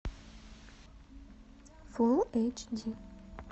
фулл эйч ди